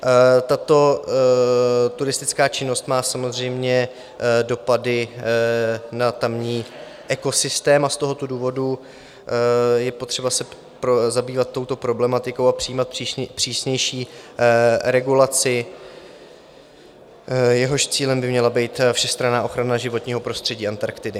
Tato turistická činnost má samozřejmě dopady na tamní ekosystém a z tohoto důvodu je potřeba se zabývat touto problematikou a přijímat přísnější regulaci, jejíž cílem by měla být všestranná ochrana životního prostřední Antarktidy.